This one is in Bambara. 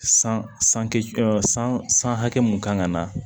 San san kɛ san hakɛ mun kan ka na